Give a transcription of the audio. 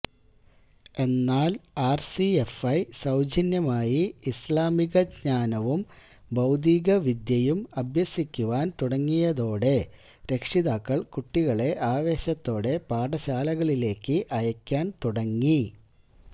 എന്നാല് ആര്സിഎഫ്ഐ സൌജ്യമായി ഇസ്ലാമിക ജ്ഞാവും ഭൌതികവിദ്യയും അഭ്യസിപ്പിക്കുവാന് തുടങ്ങിയതോടെ രക്ഷിതാക്കള് കുട്ടികളെ ആവേശത്തോടെ പാഠശാലകളിലേക്ക് അയക്കാന് തുടങ്ങി